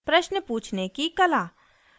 प्रश्न पूछने की कला